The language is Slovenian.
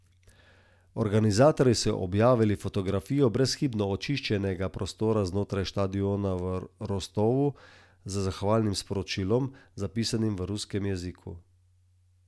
Organizatorji so objavili fotografijo brezhibno očiščenega prostora znotraj štadiona v Rostovu z zahvalnim sporočilom, zapisanim v ruskem jeziku.